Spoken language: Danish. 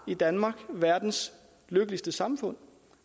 i danmark har verdens lykkeligste samfund